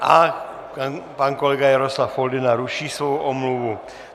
A pan kolega Jaroslav Foldyna ruší svou omluvu.